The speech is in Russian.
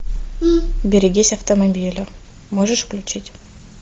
берегись автомобиля можешь включить